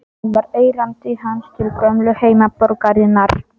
Það var erindi hans til gömlu heimaborgarinnar.